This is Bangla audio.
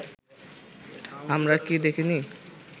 আমরা কি দেখিনি